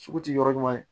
Sugu ti yɔrɔ ɲuman ye